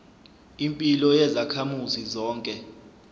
impilo yezakhamuzi zonke